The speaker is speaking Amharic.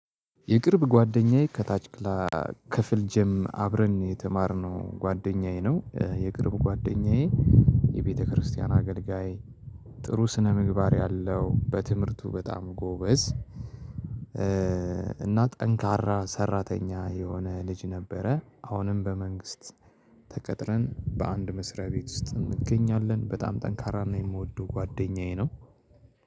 የቅርብ ጓደኛዬ ከታች ክላ ክፍል ጀም አብረን የተማርነው ጓደኛዬ ነው። የቅርብ ጓደኛዬ የቤተክርስቲያን አገልጋይ ጥሩ ስነ ምግባር ያለው በትምህርቱ በጣም ጎበዝ። እና ጠንካራ ሰራተኛ የሆነ ልጅ ነበረ። አሁንም በመንግስት ተቀጥረን በአንድ መስሪያ ቤት ውስጥ እንገኛለን። በጣም ጠንካራ ነው የምወደው ጓደኛዬ ነው።